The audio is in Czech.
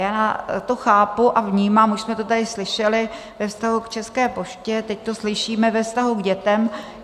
Já to chápu a vnímám, už jsme to tady slyšeli ve vztahu k České poště, teď to slyšíme ve vztahu k dětem.